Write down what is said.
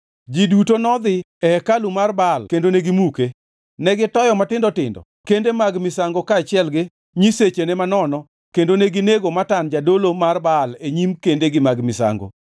Ji duto nodhi e hekalu mar Baal kendo negimuke. Negitoyo matindo tindo kende mag misango kaachiel gi nyisechene manono kendo neginego Matan jadolo mar Baal e nyim kendegi mag misango.